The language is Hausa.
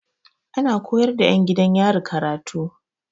Ana koyar da 'yan gidan yari karatu.